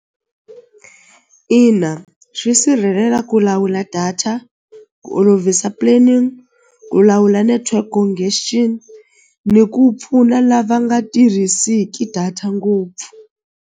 Ina swi sirhelela ku lawula data ku olovisa planning ku lawula network ni ku pfuna lava nga tirhisiki data ngopfu.